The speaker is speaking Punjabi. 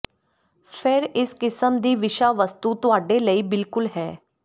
ਫਿਰ ਇਸ ਕਿਸਮ ਦੀ ਵਿਸ਼ਾ ਵਸਤੂ ਤੁਹਾਡੇ ਲਈ ਬਿਲਕੁਲ ਹੈ